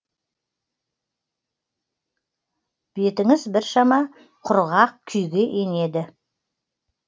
бетіңіз біршама құрғақ күйге енеді